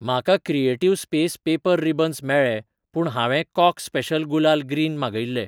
म्हाका creative space paper ribbons मेळ्ळें पूण हांवें कॉक स्पेशल गुलाल ग्रीन मागयिल्लें.